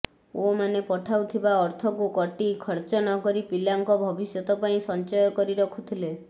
ପୁଅମାନେ ପଠାଉଥିବା ଅର୍ଥକୁ କଟି ଖର୍ଚ୍ଚ ନକରି ପିଲାଙ୍କ ଭବିଷ୍ୟତ ପାଇଁ ସଞ୍ଚୟ କରି ରଖୁଥିଲେ